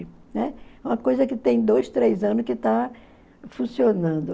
Né? É uma coisa que tem dois, três anos que está funcionando.